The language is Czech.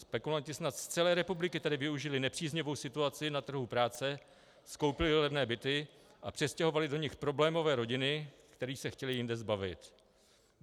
Spekulanti snad z celé republiky tady využili nepříznivou situaci na trhu práce, skoupili levné byty a přestěhovali do nich problémové rodiny, kterých se chtěli jinde zbavit.